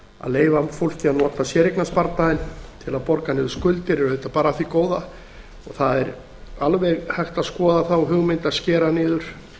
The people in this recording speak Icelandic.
leyfa fólki að nota séreignasparnaðinn til að borga niður skuldir er auðvitað bara af því góða og það er alveg hægt að skoða þá hugmynd að skera niður